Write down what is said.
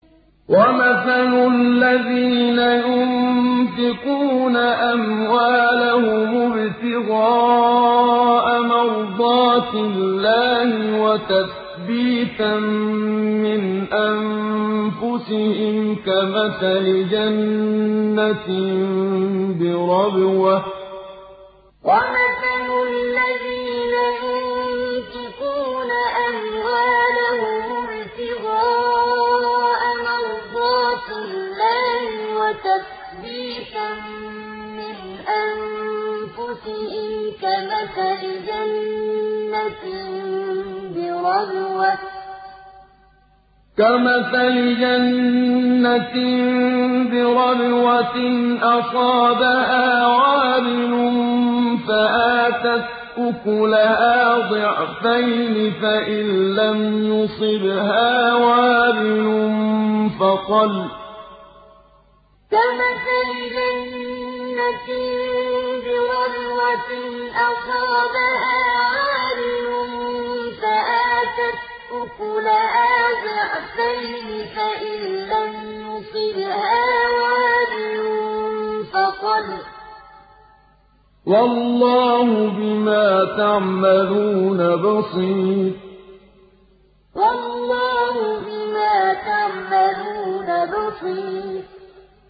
وَمَثَلُ الَّذِينَ يُنفِقُونَ أَمْوَالَهُمُ ابْتِغَاءَ مَرْضَاتِ اللَّهِ وَتَثْبِيتًا مِّنْ أَنفُسِهِمْ كَمَثَلِ جَنَّةٍ بِرَبْوَةٍ أَصَابَهَا وَابِلٌ فَآتَتْ أُكُلَهَا ضِعْفَيْنِ فَإِن لَّمْ يُصِبْهَا وَابِلٌ فَطَلٌّ ۗ وَاللَّهُ بِمَا تَعْمَلُونَ بَصِيرٌ وَمَثَلُ الَّذِينَ يُنفِقُونَ أَمْوَالَهُمُ ابْتِغَاءَ مَرْضَاتِ اللَّهِ وَتَثْبِيتًا مِّنْ أَنفُسِهِمْ كَمَثَلِ جَنَّةٍ بِرَبْوَةٍ أَصَابَهَا وَابِلٌ فَآتَتْ أُكُلَهَا ضِعْفَيْنِ فَإِن لَّمْ يُصِبْهَا وَابِلٌ فَطَلٌّ ۗ وَاللَّهُ بِمَا تَعْمَلُونَ بَصِيرٌ